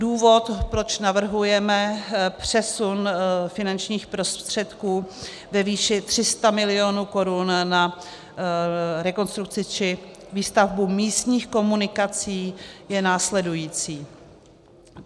Důvod, proč navrhujeme přesun finančních prostředků ve výši 300 mil. korun na rekonstrukci či výstavbu místních komunikací, je následující.